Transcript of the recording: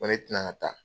Ko ne tɛna taa